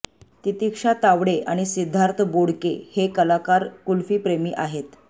तितिक्षा तावडे आणि सिद्धार्थ बोडके हे कलाकार कुल्फीप्रेमी आहेत